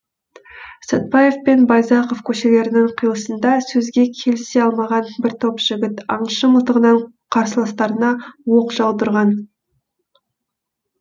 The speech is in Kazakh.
сәтбаев пен байзақов көшелерінің қиылысында сөзге келісе алмаған бір топ жігіт аңшы мылтығынан қарсыластарына оқ жаудырған